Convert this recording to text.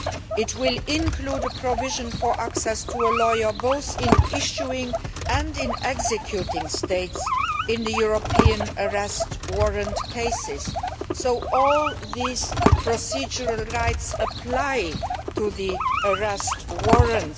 It will include a provision for access to a lawyer both in the issuing and the executing States in European Arrest Warrant cases. All these procedural rights apply to the Arrest Warrant.